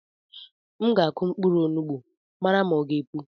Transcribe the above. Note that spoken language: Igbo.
M ga akụ mkpụrụ onugbu mara ma ọ gá epu.